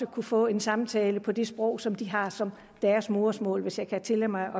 kunne få en samtale på det sprog som de har som deres modersmål hvis jeg kan tillade mig